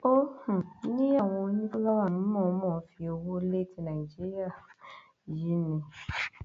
ó um ní àwọn onífúláwá ń mọọnmọ fi ọwọ lé tí nàìjíríà um yìí ni